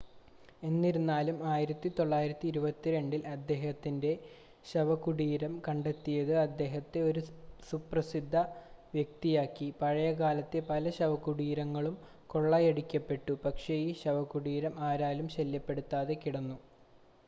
എന്നിരുന്നാലും 1922-ൽ അദ്ദേഹത്തിൻ്റെ ശവകുടീരം കണ്ടെത്തിയത് അദ്ദേഹത്തെ ഒരു സുപ്രസിദ്ധ വ്യക്തിയാക്കി പഴയകാലത്തെ പല ശവകുടീരങ്ങളും കൊള്ളയടിക്കപ്പെട്ടു പക്ഷേ ഈ ശവകുടീരം ആരാലും ശല്യപ്പെടുത്താതെ കിടന്നു